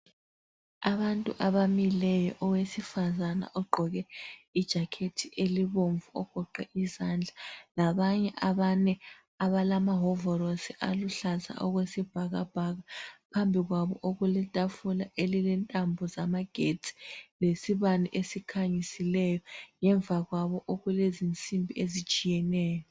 Abantu abamileyo owesifazane ogqoke ijakhethi elibomvu ogoqe izandla labanye abane abalamahovolosi aluhlaza okwesibhakabhaka phambi kwabo okuletafula elilentambo zamagetshi lesibane esikhanyisileyo. Ngemva kwabo okulezinsimbi ezitshiyeneyo.